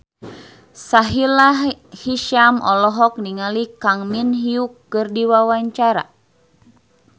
Sahila Hisyam olohok ningali Kang Min Hyuk keur diwawancara